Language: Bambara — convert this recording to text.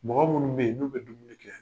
Mɔgɔ minnu bɛ yen n'u bɛ dumuni kɛ